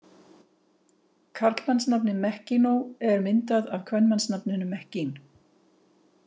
Karlmannsnafnið Mekkinó er myndað af kvenmannsnafninu Mekkín.